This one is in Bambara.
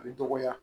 A bɛ dɔgɔya